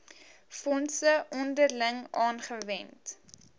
fondse onderling aangewend